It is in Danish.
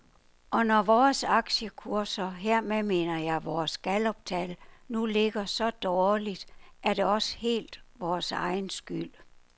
Og når vores aktiekurser, hermed mener jeg vores galluptal, nu ligger så dårligt, er det også helt vores egen skyld.